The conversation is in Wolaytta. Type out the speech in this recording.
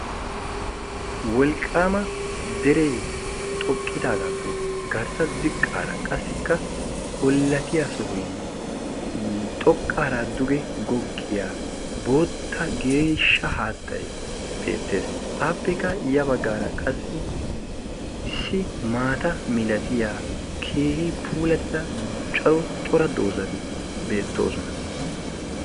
Wolqqaama deree xoqqidaagaappe garssa ziqqaara qassikka ollatiya sohoynne xoqqaara duge goggiya bootta geeshsha haattay beettees. Appekka ya baggaara qassi issi maata milatiya keehi puulattida cora dozati beettoosona.